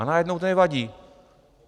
A najednou to nevadí.